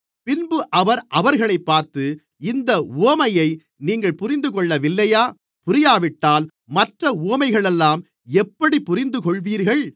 பின்பு அவர் அவர்களைப் பார்த்து இந்த உவமையை நீங்கள் புரிந்துகொள்ளவில்லையா புரியாவிட்டால் மற்ற உவமைகளையெல்லாம் எப்படிப் புரிந்துகொள்வீர்கள்